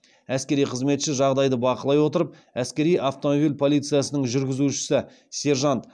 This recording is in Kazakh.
әскери қызметші жағдайды бақылай отырып әскери автомобиль полициясының жүргізушісі сержант